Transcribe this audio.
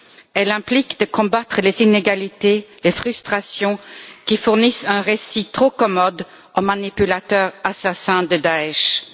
Elle implique de combattre les inégalités, les frustrations, qui fournissent un récit trop commode aux manipulateurs assassins de l'État islamique.